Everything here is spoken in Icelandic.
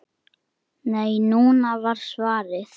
Nei, núna! var svarið.